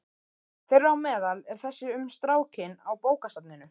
Þeirra á meðal er þessi um strákinn á bókasafninu.